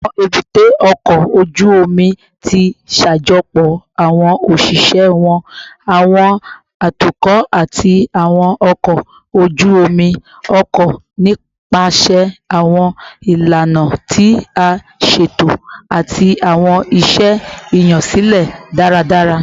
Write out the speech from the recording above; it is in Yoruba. Awọn ebute oko oju omi ti ṣajọpọ awọn oṣiṣẹ wọn, awọn atukọ, ati awọn ọkọ oju-omi ọkọ nipasẹ awọn ilana ti a ṣeto ati awọn iṣẹ iyansilẹ daradara